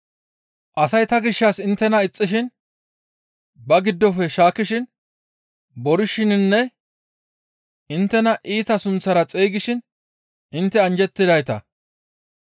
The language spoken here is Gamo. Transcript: asay ta gishshas inttena ixxishin ba giddofe shaakkishin, borishininne inttena iita sunththara xeygishin intte anjjettidayta;